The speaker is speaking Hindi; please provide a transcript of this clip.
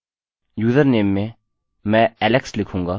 यूजरनेम में मैं alex लिखूँगा